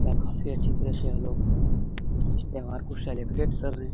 यह काफ़ी अच्छी तरह से यह लोग इस त्यौहार को सेलिब्रेट कर रहे हैं।